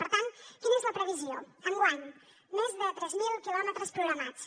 per tant quina és la previsió enguany més de tres mil quilòmetres programats